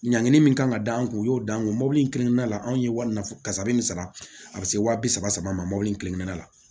Ɲangini min kan ka d'an kun u y'o d'an kun mobili in kelenkelenna la anw ye wari min fɔ kasa bɛ nin sara a bɛ se wa bi saba saba ma mobili in kelenkelenna la